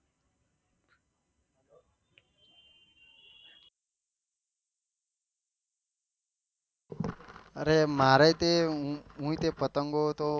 અરે મારે તે હુએ તે પતંગો તો